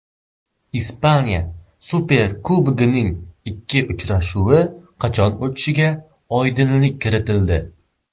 Ispaniya Superkubogining ikki uchrashuvi qachon o‘tishiga oydinlik kiritildi.